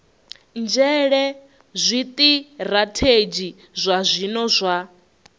nzhele zwitirathedzhi zwa zwino zwa